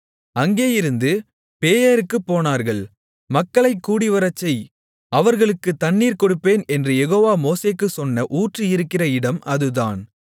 அங்கேயிருந்து பேயேருக்குப் போனார்கள் மக்களைக் கூடிவரச்செய் அவர்களுக்குத் தண்ணீர் கொடுப்பேன் என்று யெகோவா மோசேக்குச் சொன்ன ஊற்று இருக்கிற இடம் அதுதான்